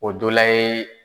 O dola ye